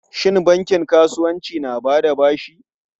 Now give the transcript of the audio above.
Shin bankin kasuwanci na ba da bashi?